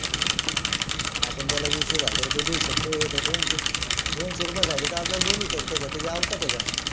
आपण त्याला वीस एक हजार देऊ शकतो हे तर दोनशे रुप्ये साठी तासभर बोलू शकते का त्याची औकात आहे का